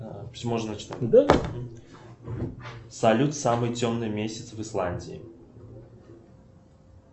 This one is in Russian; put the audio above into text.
салют самый темный месяц в исландии